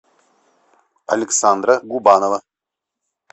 александра губанова